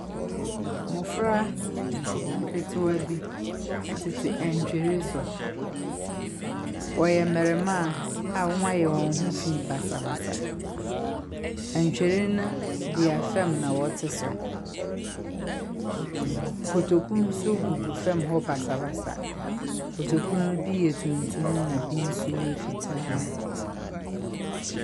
Mmɔfra nketewa bi tete atwere so. Wɔhyɛ mmarimaa a wɔayɛ wɔn ho fi basabasa. Ntwere bea fam na wɔte so. Kotoku nso gugu fam hɔ basabasa. Kotoku no bi yɛ tuntum na bi bi nso yɛ fitaa.